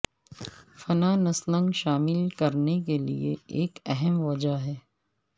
financing شامل کرنے کے لئے ایک اہم وجہ ہے